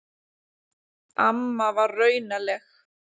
Amma var raunaleg.